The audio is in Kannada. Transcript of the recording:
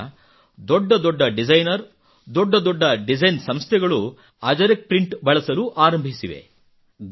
ಈಗ ದೊಡ್ಡ ದೊಡ್ಡ ಡಿಸೈನರ್ ದೊಡ್ಡ ದೊಡ್ಡ ಡಿಸೈನ್ ಸಂಸ್ಥೆಗಳು ಅಜರಕ್ ಪ್ರಿಂಟ್ ಬಳಸಲು ಆರಂಭಿಸಿವೆ